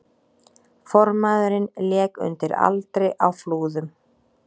Formaðurinn lék undir aldri á Flúðum